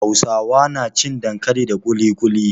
Hausawa na cin dankali da kulikuli